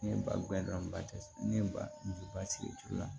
Ne ye balɔnba kɛ ne ye ba ju ba sigi